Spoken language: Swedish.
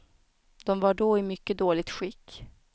De var då i mycket dåligt skick.